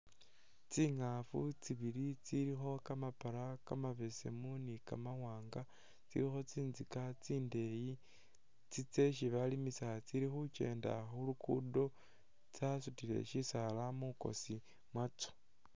Tsingafu tsibili tsilikho kamapara kamabesemu ni kama wanga tsilikho tsinzika tsindeyi tsi tsesi balimisa tsili khu kyenda khu lugudo tsasutile shisaala mwikosi mwatso.